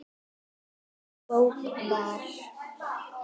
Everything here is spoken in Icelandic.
Sú bók var